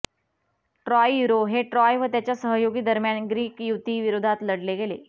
Troy युरो हे Troy व त्याच्या सहयोगी दरम्यान ग्रीक युती विरोधात लढले गेले